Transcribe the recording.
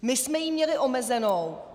My jsme ji měli omezenou.